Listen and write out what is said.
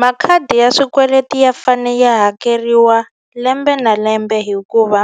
Makhadi ya swikweleti ya fane ya hakeriwa lembe na lembe hikuva